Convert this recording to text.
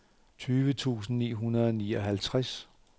tyve tusind ni hundrede og nioghalvtreds